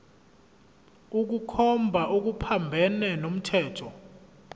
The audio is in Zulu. ukukhomba okuphambene nomthetho